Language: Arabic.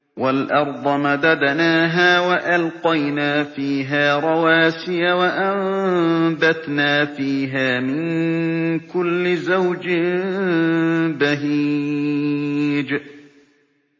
وَالْأَرْضَ مَدَدْنَاهَا وَأَلْقَيْنَا فِيهَا رَوَاسِيَ وَأَنبَتْنَا فِيهَا مِن كُلِّ زَوْجٍ بَهِيجٍ